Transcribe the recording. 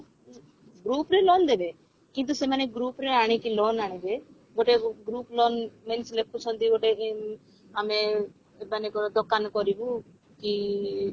group ରେ ନହେଲେ ଦେବେ କିନ୍ତୁ ସେମାନେ group ରେ ଆଣିକି loan ଆଣିବେ ଗୋଟେ group ନ means ଲେଖୁଛନ୍ତି ଗୋଟେ ଇଁ ଆମେ ମନେକର ଦୋକାନ କରିବୁ କି